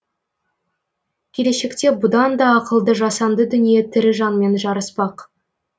келешекте бұдан да ақылды жасанды дүние тірі жанмен жарыспақ